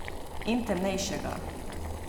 In temnejšega.